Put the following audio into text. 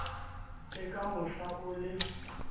le ka mohla o le